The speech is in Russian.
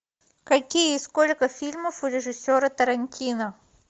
какие и сколько фильмов у режиссера тарантино